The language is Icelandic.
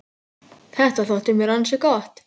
Þetta þótti mér ansi gott.